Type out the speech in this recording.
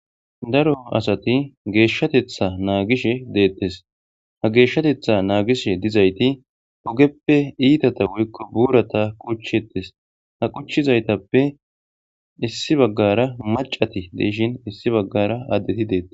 Daro asati geshatetha nagishe detes . Ha geshatetha nagishe dizayti ogeppe itata woyko burata qoncisetes . Ha qoncizaytappe issi bagara mac'ati de'ishn issi bagara adet detes.